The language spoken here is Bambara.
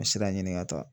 Sira ɲini ka taa